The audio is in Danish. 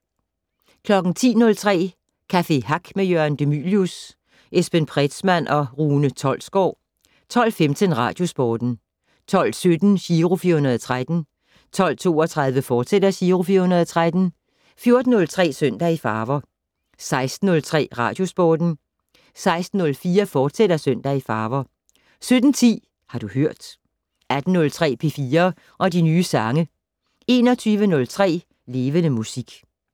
10:03: Café Hack med Jørgen De Mylius, Esben Pretzmann og Rune Tolsgaard 12:15: Radiosporten 12:17: Giro 413 12:32: Giro 413, fortsat 14:03: Søndag i farver 16:03: Radiosporten 16:04: Søndag i farver, fortsat 17:10: Har du hørt 18:03: P4 og de nye sange 21:03: Levende Musik